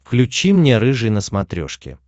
включи мне рыжий на смотрешке